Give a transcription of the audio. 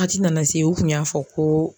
ti nana se u kun y'a fɔ ko